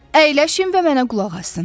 Əyləşin və mənə qulaq asın.